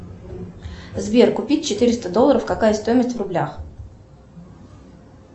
сбер купить четыреста долларов какая стоимость в рублях